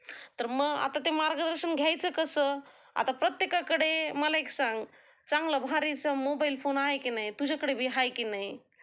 तर मग आता ते मार्गदर्शन घ्यायचं कसं? आता प्रत्येकाकडे मला एक सांग चांगला भारीचा मोबाइल फोन आहे की नाही? तुझ्याकडं बी ह्याय की नाही,